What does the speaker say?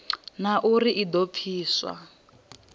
na uri i do pfiswa